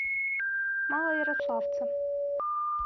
малоярославца